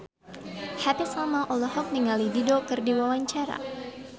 Happy Salma olohok ningali Dido keur diwawancara